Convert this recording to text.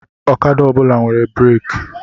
Okada ọ bụla nwere breeki.